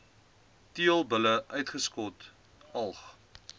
teelbulle uitgeskot alg